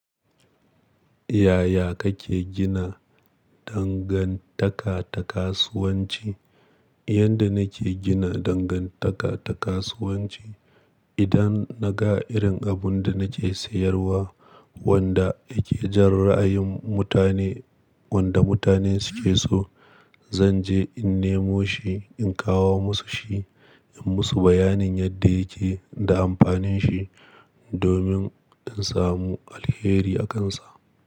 Yaya kake gina dangantaka ta kasuwanci? Yanda nake gina dangantaka ta kasuwanci, idan na ga irin abun da nake sayarwa wanda yake jan ra'ayin mutane, wanda mutane suke so, zan je in nemo shi, in kawo musu shi, in musu bayanin yadda yake da amfanin shi domin in samu alheri a kansa.